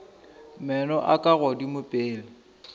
meno a ka godimo pele